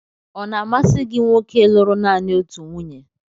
Ọ̀ na-amasị gị nwoke lụrụ nanị otu nwunye?